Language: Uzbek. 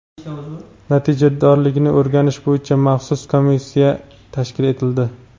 natijadorligini o‘rganish bo‘yicha maxsus komissiya tashkil etildi.